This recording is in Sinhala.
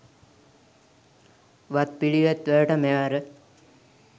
වත්පිළිවෙත් වලට, මෙවර